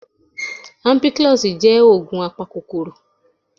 Ampiclox jẹ́ ògùn apakòkòrò